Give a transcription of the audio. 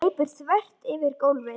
Hún hleypur þvert yfir gólfið.